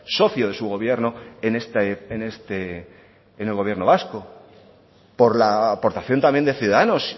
socio de su gobierno en el gobierno vasco por la aportación también de ciudadanos